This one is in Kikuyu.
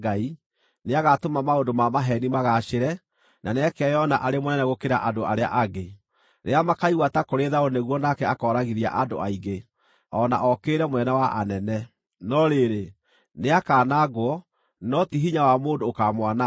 Nĩagatũma maũndũ ma maheeni magaacĩre, na nĩakeyona arĩ mũnene gũkĩra andũ arĩa angĩ. Rĩrĩa makaigua ta kũrĩ thayũ nĩguo nake akooragithia andũ aingĩ, o na okĩrĩre Mũnene wa anene. No rĩrĩ, nĩakanangwo, no ti hinya wa mũndũ ũkaamwananga.